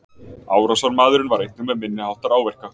Árásarmaðurinn var einnig með minniháttar áverka